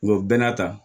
Nga o bɛɛ n'a ta